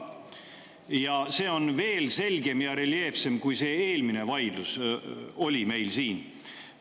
Ja see on veel selgem ja reljeefsem, kui see eelmine vaidlus meil siin oli.